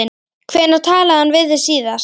Hvenær talaði hann við þig?